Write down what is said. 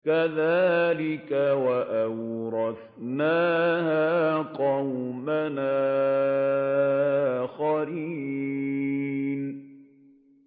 كَذَٰلِكَ ۖ وَأَوْرَثْنَاهَا قَوْمًا آخَرِينَ